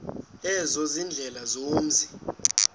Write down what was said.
ezo ziindlela zomzi